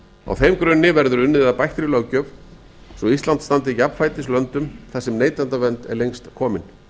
á þeim grunni verður unnið að bættri löggjöf svo ísland standi jafnfætis löndum þar sem neytendavernd er lengst komin